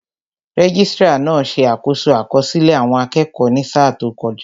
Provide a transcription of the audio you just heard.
Registrar náà ṣe àkoso àkọsílẹ̀ àwọn akẹ́kọ̀ọ́ ní sáà tó kọjá